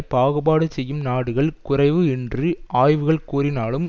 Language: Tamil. பாகுபாடு செய்யும் நாடுகள் குறைவு என்று ஆய்வுகள் கூறினாலும்